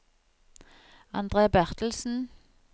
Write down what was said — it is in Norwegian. Andre Bertelsen